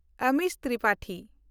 Amish Tripathi